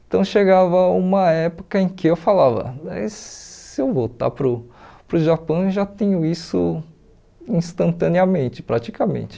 Então chegava uma época em que eu falava, eh e se eu voltar para o para o Japão eu já tenho isso instantaneamente, praticamente.